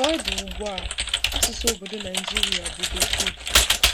Ka ọ dị ugbu a, asụsụ obodo Naijiria bụ Bekee.'